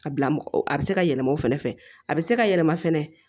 A bila mɔgɔ a bɛ se ka yɛlɛma o fɛnɛ fɛ a bɛ se ka yɛlɛma fɛnɛ